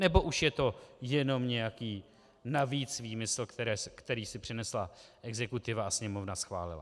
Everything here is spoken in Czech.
Nebo už je to jenom nějaký navíc výmysl, který si přinesla exekutiva a Sněmovna schválila?